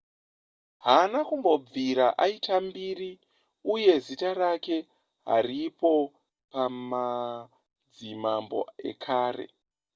haana kumbobvita aita mbiri uye zita rake haripo pamadzimambo ekare